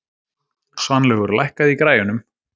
Svanlaugur, lækkaðu í græjunum.